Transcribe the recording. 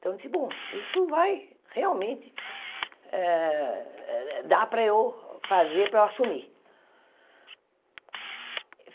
Então eu disse, bom, isso vai realmente eh dar para eu fazer, para eu assumir.